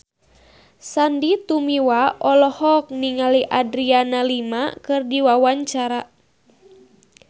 Sandy Tumiwa olohok ningali Adriana Lima keur diwawancara